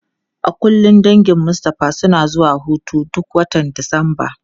A kullum dangin Mustapha suna zuwa hutu duk watan Disamba.